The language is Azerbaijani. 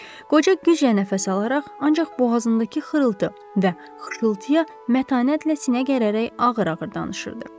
Qoca güclə nəfəs alaraq ancaq boğazındakı xırıltı və xışıltıya mətanətlə sinə gərərək ağır-ağır danışırdı.